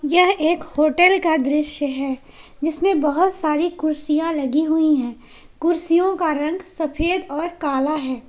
यह एक होटल का दृश्य है जिसमें बहुत सारी कुर्सियां लगी हुई है कुर्सियों का रंग सफेद और काला है।